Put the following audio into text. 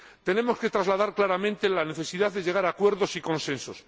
Tenemos que trasladar claramente la necesidad de llegar a acuerdos y consensos.